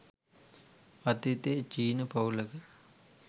අතීතයේ චීන පවුලක